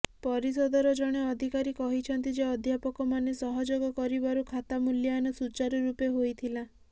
ପରିଷଦର ଜଣେ ଅଧିକାରୀ କହିଛନ୍ତି ଯେ ଅଧ୍ୟାପକମାନେ ସହଯୋଗ କରିବାରୁ ଖାତା ମୂଲ୍ୟାୟନ ସୁଚାରୁରୂପେ ହୋଇଥିଲା